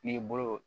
N'i bolo